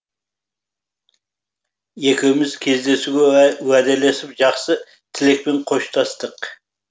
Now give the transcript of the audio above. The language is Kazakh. екеуіміз кездесуге уәделесіп жақсы тілекпен қоштастық